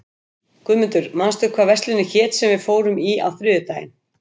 Guðmundur, manstu hvað verslunin hét sem við fórum í á þriðjudaginn?